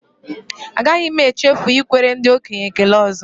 Agaghị m echefu ikwere ndị okenye ekele ọzọ